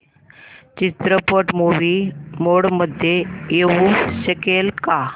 चित्रपट movie mode मध्ये येऊ शकेल का